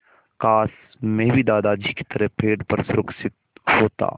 काश मैं भी दादाजी की तरह पेड़ पर सुरक्षित होता